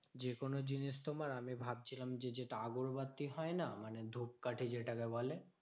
যেকোনো জিনিস তোমার আমি ভাবছিলাম যে, যেটা আগরবাতি হয় না মানে ধূপকাঠি যেটাকে বলে?